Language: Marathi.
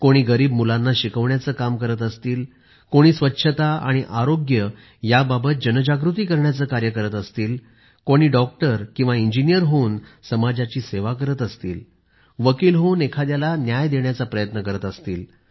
कोणी गरीब मुलांना शिकवण्याचे काम करत असेल कोणी स्वच्छता आणि आरोग्य या बाबत जनजागृती करण्याचे कार्य करत असेल कोणी डॉक्टर किंवा इंजिनिअर होऊन समाजाची सेवा करत असेल वकील होऊन एखाद्याला न्याय देण्याच्या प्रयत्न करत असेल